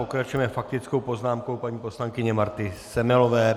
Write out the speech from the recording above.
Pokračujeme faktickou poznámkou paní poslankyně Marty Semelové.